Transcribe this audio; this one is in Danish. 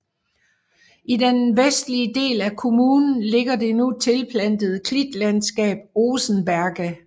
I den vestlige del af kommunen ligger det nu tilplantede klitlandskab Osenberge